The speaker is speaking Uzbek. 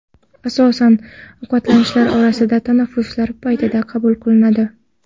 Asosan ovqatlanishlar orasidagi tanaffuslar paytida qabul qilinadi.